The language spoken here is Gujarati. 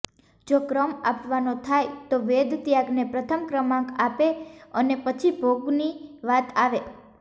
જો ક્રમ આપવાનો થાય તો વેદ ત્યાગને પ્રથમ ક્રમાંક આપે અને પછી ભોગની વાત આવે